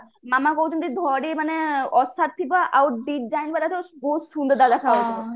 ମାମା କହୁଛନ୍ତି ଧଡି ମାନେ ଥିବ ଆଉ design ବାଲା ଥିବ ବହୁତ ସୁନ୍ଦର ତାହାଲେ ଦେଖାଯିବ